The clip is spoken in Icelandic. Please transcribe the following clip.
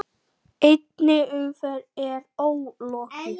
Einni umferð er ólokið.